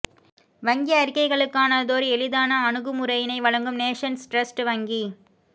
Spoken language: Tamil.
வங்கி அறிக்கைகளுக்கானதோர் எளிதான அணுகுமுறையினை வழங்கும் நேஷன்ஸ் டிரஸ்ட் வங்கி